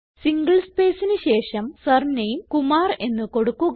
single സ്പേസിന് ശേഷം surname Kumar എന്ന് കൊടുക്കുക